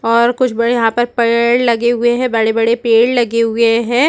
और कुछ बड़े यहाँ पर पेड़ लगे हुए हैं बड़े-बड़े पेड़ लगे हुए है।